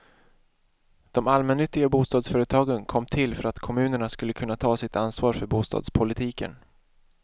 De allmännyttiga bostadsföretagen kom till för att kommunerna skulle kunna ta sitt ansvar för bostadspolitiken.